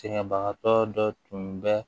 Sɛgɛnbagatɔ dɔ tun bɛ